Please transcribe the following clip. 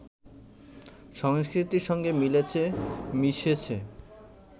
সংস্কৃতির সঙ্গে মিলেছে, মিশেছে